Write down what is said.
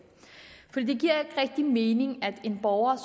rigtig mening at en borger